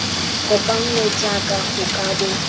kopanngwe jaaka go ka bo